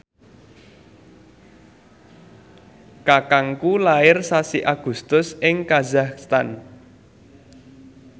kakangku lair sasi Agustus ing kazakhstan